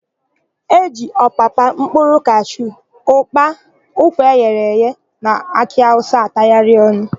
E ji ọpapa, mkpụrụ kashu, ụ́kpà, ụkwa eghere eghe na akị awụsa atagharị ọnụ.